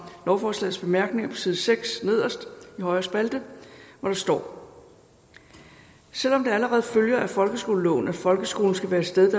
lovforslagets bemærkninger der side seks højre spalte hvor der står selv om det allerede følger af folkeskoleloven at folkeskolen skal være et sted